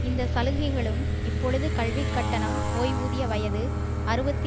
இந்த சலுகைகளும் இப்பொழுது கல்விக் கட்டணம் ஓய்வூதிய வயது அறுபத்தி